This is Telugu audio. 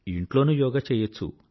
ఇంట్లోనూ యోగా చేయచ్చు